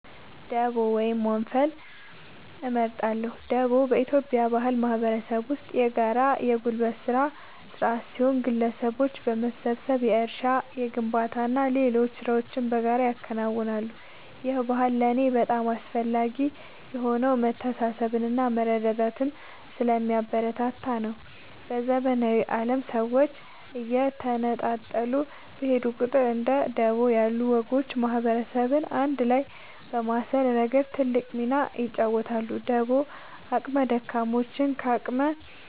ደቦ ወይም ወንፈል እመርጣለሁ። ደቦ በኢትዮጵያ ባህላዊ ማህበረሰብ ውስጥ የጋራ የጉልበት ሥራ ሥርዓት ሲሆን፣ ግለሰቦች በመሰባሰብ የእርሻ፣ የግንባታና ሌሎች ሥራዎችን በጋራ ያከናውናሉ። ይህ ባህል ለእኔ በጣም አስፈላጊ የሆነው መተሳሰብንና መረዳዳትን ስለሚያበረታታ ነው። በዘመናዊው ዓለም ሰዎች እየተነጣጠሉ በሄዱ ቁጥር፣ እንደ ደቦ ያሉ ወጎች ማህበረሰብን አንድ ላይ በማሰር ረገድ ትልቅ ሚና ይጫወታሉ። ደቦ አቅመ ደካሞችን ከአቅመ